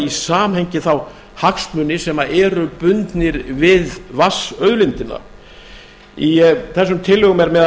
samhengi þá hagsmuni sem eru bundnir við vatnsauðlindina í þessum tillögum er meðal